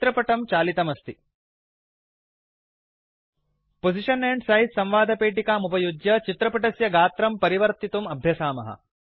चित्रपटं चालितमस्ति position and size संवादपेटिकाम् उपयुज्य चित्रपटस्य गात्रं परिवर्तितुं अभ्यसामः